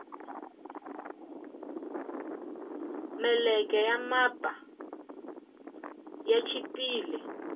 meleke ya mapu ya chipile